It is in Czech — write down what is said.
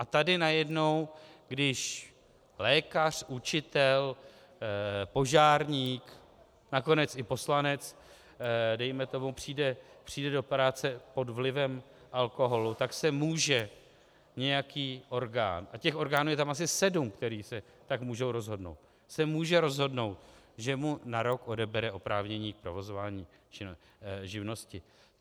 A tady najednou když lékař, učitel, požárník, nakonec i poslanec dejme tomu, přijde do práce pod vlivem alkoholu, tak se může nějaký orgán, a těch orgánů je tam asi sedm, které se tak můžou rozhodnout, se může rozhodnout, že mu na rok odebere oprávnění k provozování živnosti.